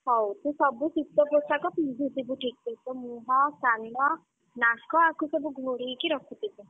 ହଉ ତୁ ସବୁ ଶୀତ ପୋଷାକ ପିନ୍ଧୁଥିବୁ ଠିକ୍‌ ସେ ତୋମୁହଁ, କାନ ନାକ ଆକୁ ସବୁ ଘୋଡ଼େଇକି ରଖୁଥିବୁ।